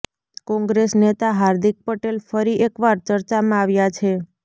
કોંગ્રેસ નેતા હાર્દિક પટેલ ફરી એકવાર ચર્ચામાં આવ્યાં છે